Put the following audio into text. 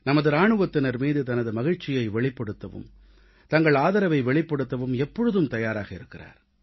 நமது இராணுவத்தினர் மீது தனது மகிழ்ச்சியை வெளிப்படுத்தவும் தங்கள் ஆதரவை வெளிப்படுத்தவும் எப்பொழுதும் தயாராக இருக்கிறார்